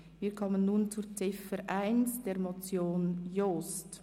Wir kommen zur Motion Jost.